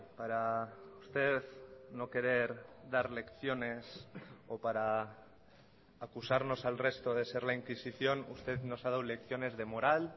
para usted no querer dar lecciones o para acusarnos al resto de ser la inquisición usted nos ha dado lecciones de moral